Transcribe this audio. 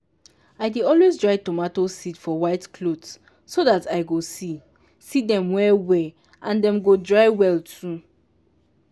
i dey always dry tomato seed for white cloth so that i go see see dem well well and dem go dry well too.